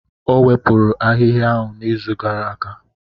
O wepụrụ ahihia ahụ n'izu gara aga.